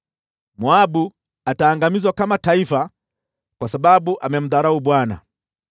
Moabu ataangamizwa kama taifa kwa sababu amemdharau Bwana .